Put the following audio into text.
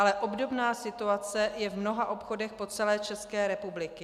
Ale obdobná situace je v mnoha obchodech po celé České republice.